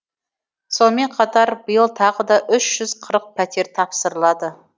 сонымен қатар биыл тағы да үш жүз қырық пәтер тапсырылады